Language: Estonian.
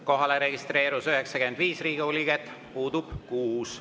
Kohalolijaks registreerus 95 Riigikogu liiget, puudub 6.